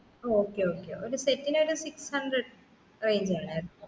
ആ okay okay ഒരു set നു ഒരു six hundred range വേണാർന്നു